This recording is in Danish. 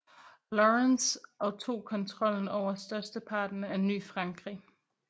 Lawrence og tog kontrollen over størsteparten af Ny Frankrig